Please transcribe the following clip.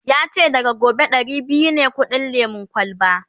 yace daga gobe Dari biyu ne kudin lemun kwalba